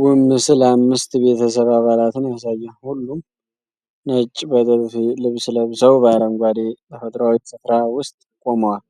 ውብ ምስል አምስት ቤተሰብ አባላትን ያሳያል። ሁሉም ነጭ በጥልፍ ልብስ ለብሰው፣ በአረንጓዴ ተፈጥሮአዊ ስፍራ ውስጥ ቆመዋል።